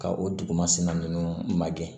Ka o dugumasina ninnu magɛn